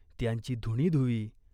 त्यांची धुणी धुवी.